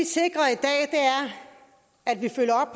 sikrer er at vi følger